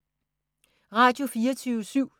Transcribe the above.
Radio24syv